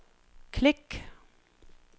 klik